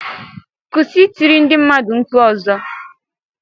Kûsị I tiri ndi mmadu nkpu mgbe ozo!